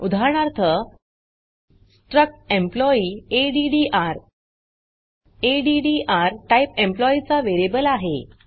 उदाहरणार्थ struct employee addr addr type employee चा variable आहे